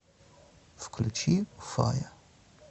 включи фая